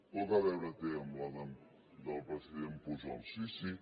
poc a veure té amb la del president pujol sí sí